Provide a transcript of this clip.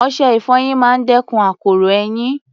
Ọṣẹ-ìfọyín máa ń dẹ́kun akoro eyín